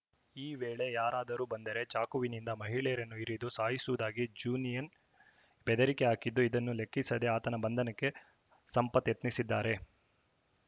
ಈ ವೇಳೆ ಯಾರಾದರೂ ಬಂದರೆ ಚಾಕುವಿನಿಂದ ಮಹಿಳೆಯರನ್ನು ಇರಿದು ಸಾಯಿಸುವುದಾಗಿ ಜೂನಿಯನ್‌ ಬೆದರಿಕೆ ಹಾಕಿದ್ದು ಇದನ್ನು ಲೆಕ್ಕಿಸದೆ ಆತನ ಬಂಧನಕ್ಕೆ ಸಂಪತ್‌ ಯತ್ನಿಸಿದ್ದಾರೆ